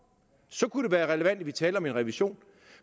så kunne det være relevant at vi talte om en revision